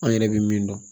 An yɛrɛ bɛ min dɔn